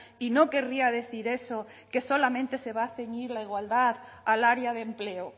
y no querría decir eso que solamente se va a ceñir la igualdad al área de empleo